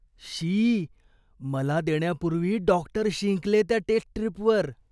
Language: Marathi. शी, मला देण्यापूर्वी डॉक्टर शिंकले त्या टेस्ट स्ट्रीपवर.